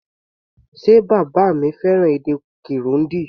Ṣe bàbá mi fẹ́ràn èdè Kirundi?